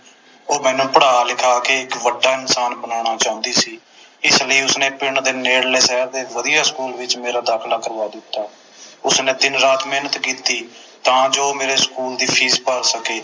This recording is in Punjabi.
ਉਹ ਮੈਨੂੰ ਪੜ੍ਹਾ ਲਿਖਾ ਕੇ ਇਕ ਵੱਡਾ ਇਨਸਾਨ ਬਨਾਉਣਾ ਚਾਹੁੰਦੀ ਸੀ ਇਸ ਲਈ ਉਸਨੇ ਪਿੰਡ ਦੇ ਨੇੜਲੇ ਸ਼ਹਿਰ ਦੇ ਇਕ ਵਧੀਆ ਸਕੂਲ ਵਿਚ ਮੇਰਾ ਦਾਖਿਲਾ ਕਰਵਾ ਦਿੱਤਾ ਉਸਨੇ ਦਿਨ ਰਾਤ ਮੇਹਨਤ ਕੀਤੀ ਤਾ ਜੋ ਮੇਰੇ ਸਕੂਲ ਦੀ ਫੀਸ ਭਰ ਸਕੇ